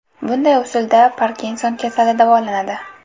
Bunday usulda Parkinson kasali davolanadi.